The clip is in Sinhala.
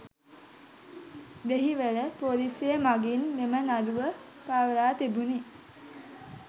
දෙහිවල පොලීසිය මගින් මෙම නඩුව පවරා තිබුණි.